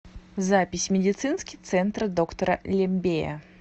запись медицинский центр доктора лембея